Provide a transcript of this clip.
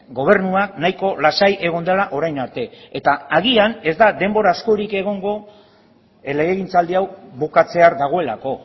gobernuak nahiko lasai egon dela orain arte eta agian ez da denbora askorik egongo legegintzaldi hau bukatzear dagoelako